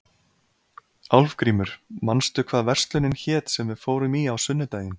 Álfgrímur, manstu hvað verslunin hét sem við fórum í á sunnudaginn?